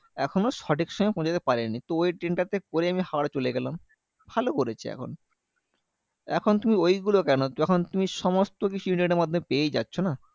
এখনো সঠিক সময় পৌঁছতে পারেনি। তো ওই ট্রেনটা তে করে আমি হাওড়া চলে গেলাম। ভালো করেছে এখন। এখন তুমি ঐগুলো কেন? যখন তুমি সমস্তকিছু internet এর মাধ্যমেই পেয়ে যাচ্ছ না?